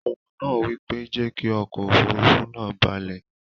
Ohùn nàá wípé, "jẹ́kí okò òfurufú nàá balẹ̀